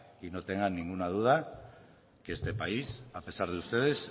y no tenga ninguna duda que este país a pesar de ustedes